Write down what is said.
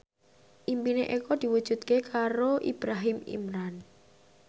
impine Eko diwujudke karo Ibrahim Imran